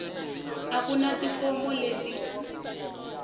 a ku na tifomo leti